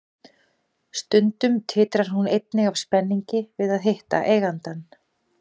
Stundum titrar hún einnig af spenningi við að hitta eigandann.